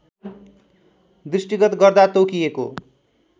दृष्टिगत गर्दा तोकिएको